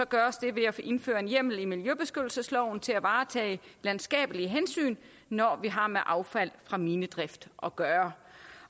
gøres det ved at indføre en hjemmel i miljøbeskyttelsesloven til at varetage landskabelige hensyn når vi har med affald fra minedrift at gøre